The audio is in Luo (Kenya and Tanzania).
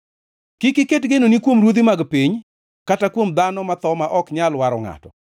Kik iket genoni kuom ruodhi mag piny, kata kuom dhano matho ma ok nyal waro ngʼato,